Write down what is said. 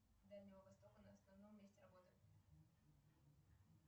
дальнего востока на основном месте работы